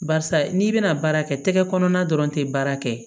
Barisa n'i bɛna baara kɛ tɛgɛ kɔnɔna dɔrɔn tɛ baara kɛ